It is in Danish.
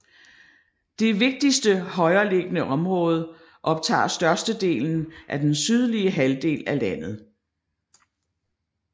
Det vigtigste højereliggende område optager størstedelen af den sydlige halvdel af landet